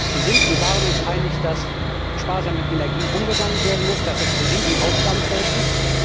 Wir sind und waren uns einig, dass sparsam mit Energie umgegangen werden muss, dass das ein Riesenaufgabenfeld ist.